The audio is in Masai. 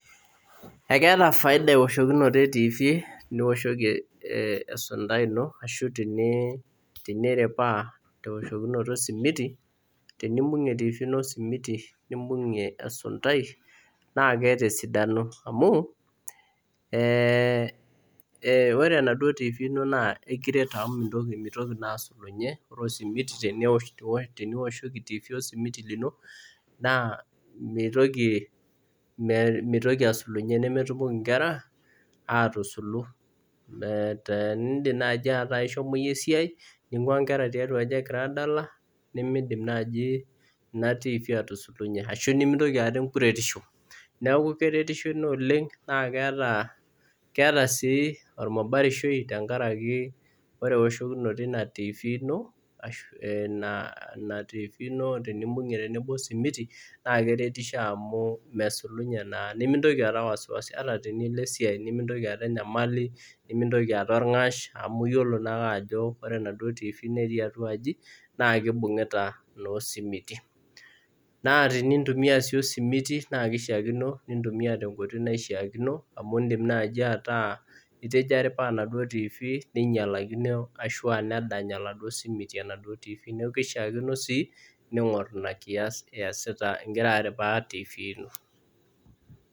Ekeeta efaida ewoshokinoto etifii, enioshoki esuntai ino ashu teniripaa te oshokinotot esimiti, tenimbung'e tifii ino simiti, nimbung'ie esuntai, naa keeta esidano amuu, ore enaduo tifii ino naa ekiret amu meitoki duo asulunye, ore esimiti tenewoshoki etifii osimiti lino, naa meitoki, meitoki asulunye, nemetumoki inkera aatusulu, maa teneidnim nai metaa ishomo iyie esiaai, ning'uaa inkera tiatu aji egira aadala, nemeidim naaji ina tifii atusulunye ashu nimintoki aata enkuretisho. Naaku keretisho ina oleng, naa keata, keata sii olmubarishoi tengaraki ore oshokinoto eina tifii ino ashu ina tifii ino tenimbung'e tenebo osimiti, naa keretisho amuu mesulumye naa nemintoki aata wasiwasi, ata tenilo esiai ino nimintoki aata inyamali, nimintoki aata ilng'ash amu iyolo naake ajo enaduo tifii entii atua aji naa keibung'uta naa osimiti. Naa tenintumiya sii osimiti naa keishaakino nintumiya te nkoitoi naishaakino amu indim naaji ataa itejo aripaa enaduo tifii neinyalakino ashu nedanya enaduo esimiti enaduo tifii, naaku keishaakino sii niing'or ina kias iesita, igira aripaa tifii ino.